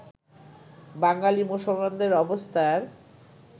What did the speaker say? বাঙালী মুসলমাদের অবস্থার